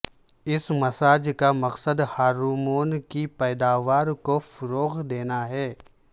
اس massage کا مقصد hormone کی پیداوار کو فروغ دینا ہے